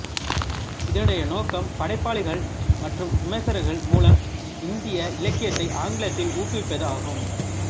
இதனுடைய நோக்கம் படைப்பாளிகள் மற்றும் விமர்சகர்கள் மூலம் இந்திய இலக்கியத்தை ஆங்கிலத்தில் ஊக்குவிப்பது ஆகும்